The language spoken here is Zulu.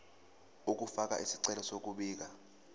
ukufaka isicelo sokubika